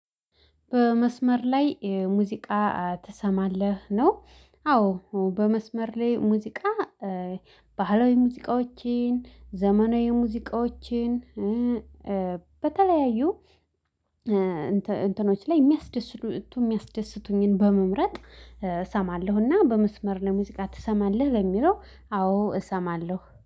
በመስመር ላይ ሙዚቃ ትሰማለህ ነው? አዎ በመስመር ላይ ሙዚቃ። ባህላዊ ሙዚቃዎችን ዘመናዊ ሙዚቃዎችን በተለያዩ እንትኖች ላይ የሚያስደስቱት የሚያስደስቱኝን በመምረጥ። እሰማለሁና በመስመር ላይ ሙዚቃ ትሰማለህ ለሚለው አዎ እሰማለሁ